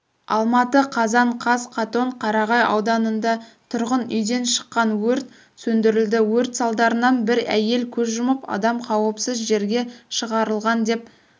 алматы қазан қаз қатон-қарағай ауданында тұрғын үйден шыққан өрт сөндірілді өрт салдарынан бір әйел көз жұмып адам қауіпсіз жерге шығарылған деп